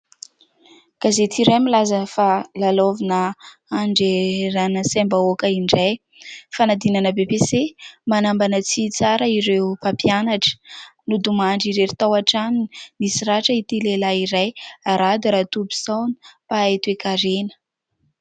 Gazety iray milaza fa : "Lalaovina handreherana saim-bahoaka indray. Fanadinana "BEPC" : manambana tsy hitsara ireo mpampianatra. Nodimandry irery tao an-tranony, nisy ratra ity lehilahy iray ; Rado Ratobison mpahay toekarena".